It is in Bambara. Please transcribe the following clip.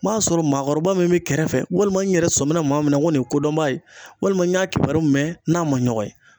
N'a sɔrɔ maakɔrɔba min be kɛrɛfɛ ,walima n yɛrɛ sɔmina maa min na ko ni ye kodɔnba ye walima n y'a kibaruyaw mɛn n n'a ma nɔgɔn ye.